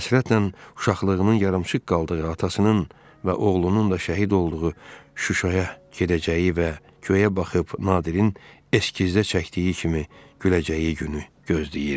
Həsrətlə uşaqlığının yarımçıq qaldığı atasının və oğlunun da şəhid olduğu Şuşaya gedəcəyi və göyə baxıb Nadirin eskizdə çəkdiyi kimi güləcəyi günü gözləyirdi.